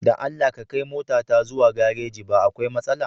Da Allah ka kai motata zuwa gareji ba akwai matsala.